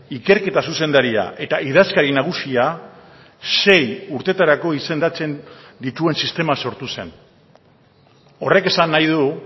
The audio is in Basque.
ikerketa zuzendaria eta idazkari nagusia sei urtetarako izendatzen dituen sistema sortu zen horrek esan nahi du